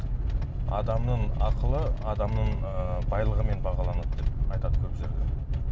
адамның ақылы адамның ыыы байлығымен бағаланады деп айтады көп жерде